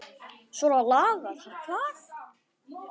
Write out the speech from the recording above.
Svona lagað hvað?